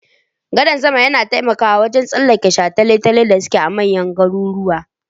Gadan sama yana taimakawa wurin tsallake shataletalen da suke manyan garuruwa.